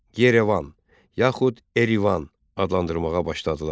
Yerevan, yaxud Erivan adlandırmağa başladılar.